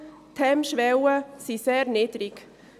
Die Hemmschwellen sind sehr niedrig.